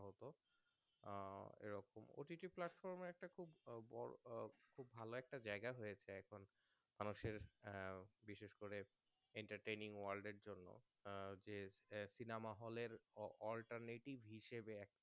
OTG এ একটা খুব আহ বোরো আহ খুব ভালো একটা জায়গা হয়েছে এক ঘন্টা মানুষের আহ বিশেষ করে Entertaining world এর জন্য আহ যে আ Cinema hall এর Alternative হিসাবে একটা